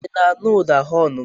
I na-aṅụ ụda họọnụ m?